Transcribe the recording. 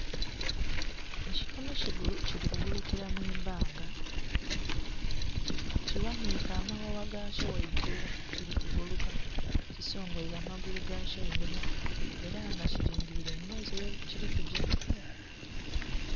Ekinhonhi kili kugulu kila mwibbanga kighanhike amaghagha gakyo ghagulu kili kuguluka kisongweile amagulu gakyo einhuma era nga kili ngilile emberi yekili kugya.